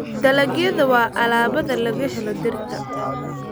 Dalagyada waa alaabada laga helo dhirta.